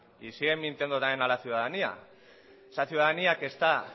y siguen mintiendo también a la ciudadanía esa ciudadanía que está